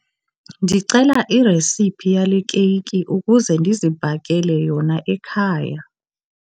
Ndicela iresiphi yale keyiki ukuze ndizibhakele yona ekhaya.